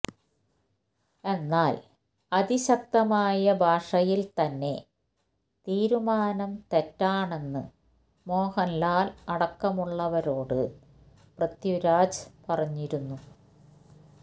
എന്നാൽ അതിശക്തമായ ഭാഷയിൽ തന്നെ തീരുമാനം തെറ്റാണെന്ന് മോഹൻലാൽ അടക്കമുള്ളവരോട് പൃഥ്വിരാജ് പറഞ്ഞിരുന്നു